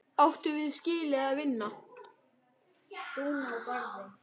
Áttum við skilið að vinna?